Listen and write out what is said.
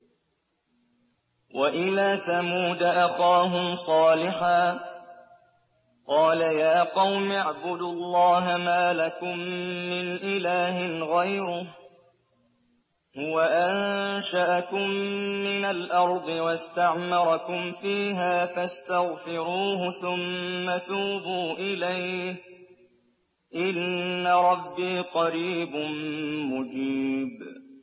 ۞ وَإِلَىٰ ثَمُودَ أَخَاهُمْ صَالِحًا ۚ قَالَ يَا قَوْمِ اعْبُدُوا اللَّهَ مَا لَكُم مِّنْ إِلَٰهٍ غَيْرُهُ ۖ هُوَ أَنشَأَكُم مِّنَ الْأَرْضِ وَاسْتَعْمَرَكُمْ فِيهَا فَاسْتَغْفِرُوهُ ثُمَّ تُوبُوا إِلَيْهِ ۚ إِنَّ رَبِّي قَرِيبٌ مُّجِيبٌ